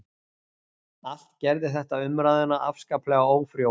Allt gerði þetta umræðuna afskaplega ófrjóa